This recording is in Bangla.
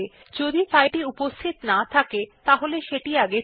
যদি ফাইলটি উপস্থিত না থাকে সেটি নির্মিত হয়